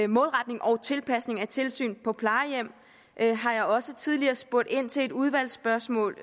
målretning og tilpasning af tilsyn på plejehjem har jeg også tidligere spurgt ind til i et udvalgsspørgsmål